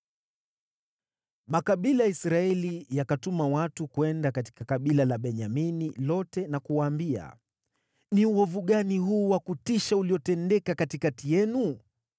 Makabila ya Israeli yakatuma watu kwenda katika kabila la Benyamini lote na kuwaambia, “Ni uovu gani huu wa kutisha uliotendeka katikati yenu?